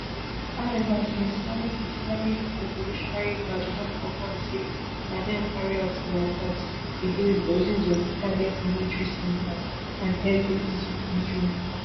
however di islamic islamic revolutionary guard don confam say na dem carry out di attacks against dozens of targets military centres and airbases for israel